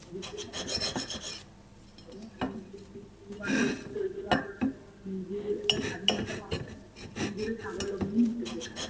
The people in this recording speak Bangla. অনেক বন্ধু-বান্ধব তৈরি হয়, নিজের একটা স্বাধীনতা পাওয়া যায় নিজেরা স্বাবলম্বী হতে থাকে।